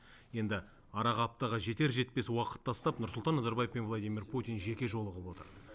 енді араға аптаға жетер жетпес уақыт тастап нұрсұлтан назарбаев пен владимир путин жеке жолығып отыр